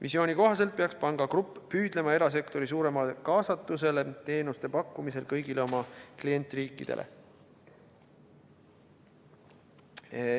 Visiooni kohaselt peaks pangagrupp püüdlema erasektori suuremale kaasatusele teenuste pakkumisel kõigile oma klientriikidele.